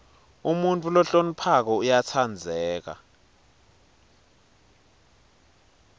umuntfu lohloniphako uyatsandzeka